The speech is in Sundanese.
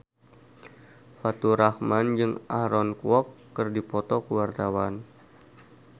Faturrahman jeung Aaron Kwok keur dipoto ku wartawan